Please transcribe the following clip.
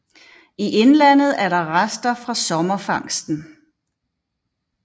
I indlandet er det rester fra sommerfangsten